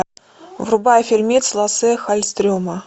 врубай фильмец лассе халльстрем